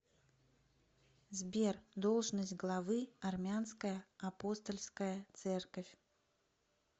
сбер должность главы армянская апостольская церковь